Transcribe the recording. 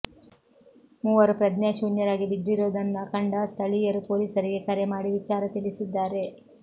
ಮೂವರು ಪ್ರಜ್ಞಾಶೂನ್ಯರಾಗಿ ಬಿದ್ದಿರೋದನ್ನ ಕಂಡ ಸ್ಥಳೀಯರು ಪೊಲೀಸರಿಗೆ ಕರೆ ಮಾಡಿ ವಿಚಾರ ತಿಳಿಸಿದ್ದಾರೆ